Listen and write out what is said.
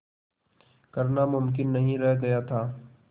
करना मुमकिन नहीं रह गया था